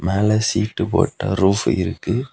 மேல ஷீட்டு போட்ட ரூஃபு இருக்கு.